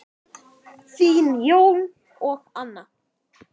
Þín, Jón og Anna.